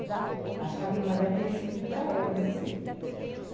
Acho que a minha irmã deve ter recebido para ela, eu nem sei.